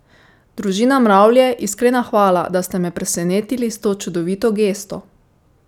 Družina Mravlje, iskrena hvala, da ste me presenetili s to čudovito gesto!